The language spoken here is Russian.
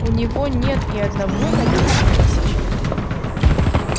у него нет и одного на десять тысяч